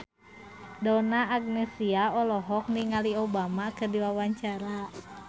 Donna Agnesia olohok ningali Obama keur diwawancara